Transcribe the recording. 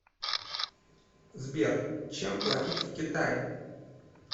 сбер чем платить в китае